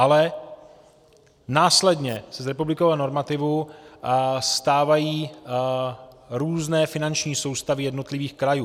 Ale následně se z republikového normativu stávají různé finanční soustavy jednotlivých krajů.